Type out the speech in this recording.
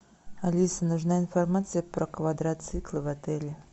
алиса нужна информация про квадроциклы в отеле